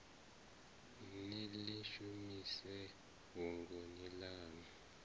ni ḽi shumise fhungoni ḽaṋu